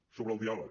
sobre el diàleg